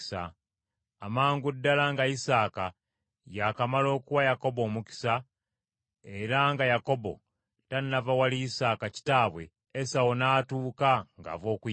Amangu ddala nga Isaaka yakamala okuwa Yakobo omukisa, era nga Yakobo tannava wali Isaaka kitaabwe, Esawu n’atuuka ng’ava okuyigga.